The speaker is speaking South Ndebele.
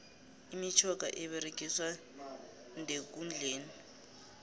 imitjhoga eberegiswa ndekundleni